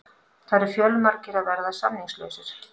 Það eru fjölmargir að verða samningslausir.